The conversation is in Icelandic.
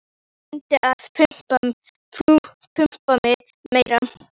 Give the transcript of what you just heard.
Hún reyndi að pumpa mig meira.